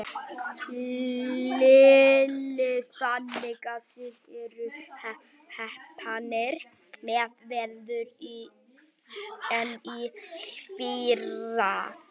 Lillý: Þannig að þið eruð heppnari með veður en í fyrra?